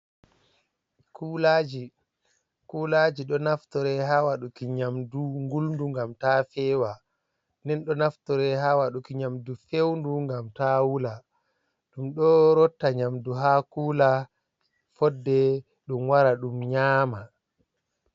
Kulaji, kulaji ɗo naftore ha waɗuki nyamdu ngulndu ngam ta fewa, nden ɗo naftoree ha waɗuki nyamdu fewndu ngam ta wula, ɗum ɗo rotta nyamdu ha kula fodde ɗum wara ɗum nyama.